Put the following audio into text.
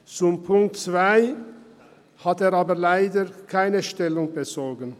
Zu Ziffer 2 hat er aber leider keine Stellung bezogen.